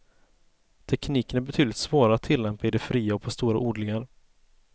Tekniken är betydligt svårare att tillämpa i det fria och på stora odlingar.